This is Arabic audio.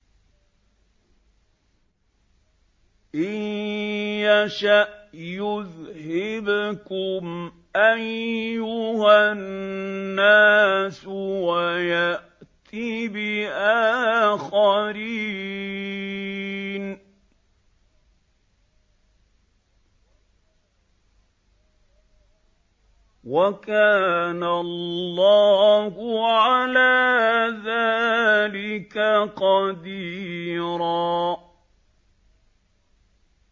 إِن يَشَأْ يُذْهِبْكُمْ أَيُّهَا النَّاسُ وَيَأْتِ بِآخَرِينَ ۚ وَكَانَ اللَّهُ عَلَىٰ ذَٰلِكَ قَدِيرًا